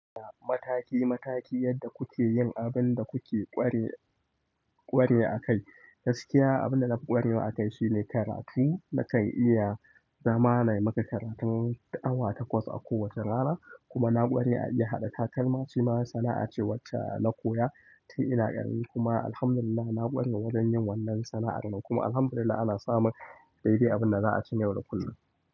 Mataki mataki yadda kuke yin abin da kuke ƙware a kai. Gaskiya abin da na ƙwarewa a kai shine karatu. Na kai iya zama na yi maka karatun awa takwas a kowace rana kuma na ƙware a iya haɗa takalma. Shi ma sana'a ce wacce na koya tun ina ƙarami kuma alhamdulillah na ƙware wajen yin wannan sana'ar nan kuma alhamdulillah ana samun daidai abin da za'a ci na yau da kullum.